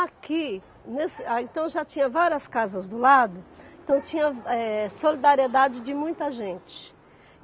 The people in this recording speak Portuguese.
Aqui, nesse ah então já tinha várias casas do lado, então tinha eh solidariedade de muita gente.